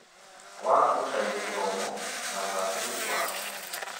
Wa gũcaria gĩthomo na ũgacĩru wake